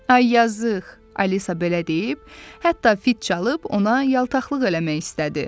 "Ay yazıq," Alisa belə deyib, hətta fit çalıb ona yaltaqlıq eləmək istədi.